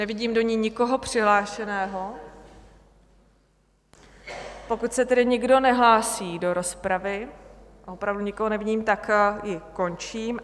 Nevidím do ní nikoho přihlášeného, pokud se tedy nikdo nehlásí do rozpravy, a opravdu nikoho nevidím, tak ji končím.